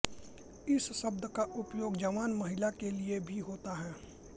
इस शब्द का उपयोग एक जवान महिला के लिए भी होता है